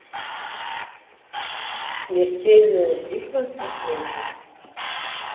смертельная битва наследие